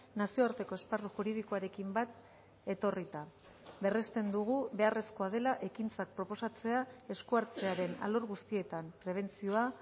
nazioarteko esparru juridikoarekin bat etorrita berresten dugu beharrezkoa dela ekintzak proposatzea esku hartzearen alor guztietan prebentzioa